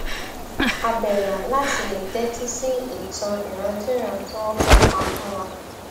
àbẹlà láti lè tẹtí sí ìtàn ìrandínran tí wọn fẹ pa fún wa